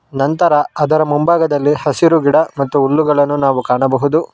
ನಂತರ ಅದರ ಮುಂಭಾಗದಲ್ಲಿ ಹಸಿರು ಗಿಡ ಮತ್ತು ಹುಲ್ಲುಗಳನ್ನು ನಾವು ಕಾಣಬಹುದು.